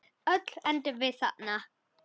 Öll endum við þarna.